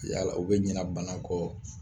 Yala u bɛ ɲɛna banaw kɔ